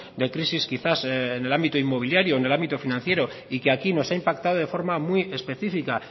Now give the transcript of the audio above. de crisis quizás en el ámbito inmobiliario en el ámbito financiero y que aquí nos ha impactado de forma muy específica